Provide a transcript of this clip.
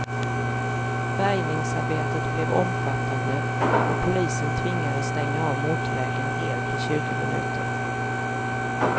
Bärgningsarbetet blev omfattande och polisen tvingades stänga av motorvägen helt i tjugo minuter.